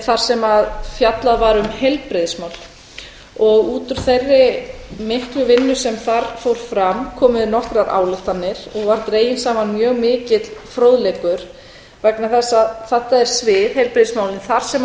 þar sem fjallað var um heilbrigðismál út úr þeirri miklu vinnu sem þar fór fram komu nokkrar ályktanir og var dreginn saman mjög mikill fróðleikur vegna þess að þetta er svið heilbrigðismálin þar sem